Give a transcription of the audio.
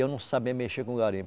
E eu não sabia mexer com garimpo.